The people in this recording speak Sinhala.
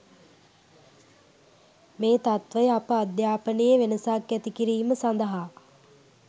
මේ තත්වය අප අධ්‍යාපනයේ වෙනසක් ඇති කිරීම සඳහා